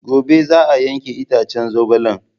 Gobe za a yanke itacen zogalen.